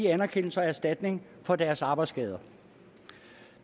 anerkendelse og erstatning for deres arbejdsskade